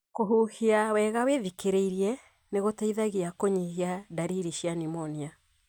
Kũhuhia wega wĩthikĩrĩirie nĩgũteithagia kũnyihia ndariri cia pneumonia.